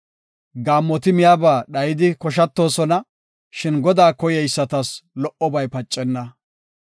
Gaammoti miyaba dhayidi koshatoosona; shin Godaa koyeysatas lo77obay pacenna.